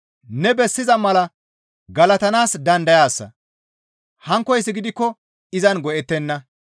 Ne bessiza mala galatanaas dandayaasa; hankkoyssi gidikko izan go7ettenna.